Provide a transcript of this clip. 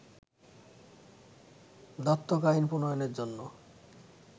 দত্তক আইন প্রণয়নের জন্য